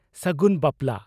ᱥᱟᱜᱩᱱ ᱵᱟᱯᱞᱟ